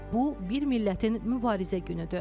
Bu bir millətin mübarizə günüdür.